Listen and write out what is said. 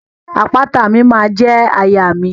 Àpáta mi ma je àyà mi.